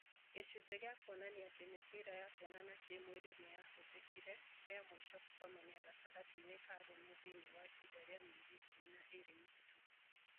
gĩcunjĩ gĩa kuonania atĩ mĩbira ya kuonana kĩ-mwĩrĩ nĩyahũthĩkire rĩamũico gũkomania gatagatĩ-inĩ ka arũme thĩinĩ wa ihinda rĩa mĩerĩ ikũmĩ na ĩĩrĩ mĩhetũku